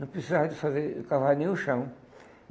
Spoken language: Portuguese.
não precisava eles fazer de cavar nenhum chão.